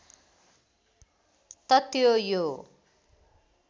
त त्यो यो